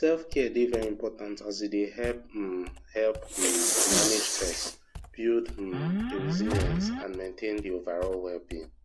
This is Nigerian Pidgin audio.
selfcare dey very important as e dey um help um to manage stress build um di resilience and maintain di overall wellbeing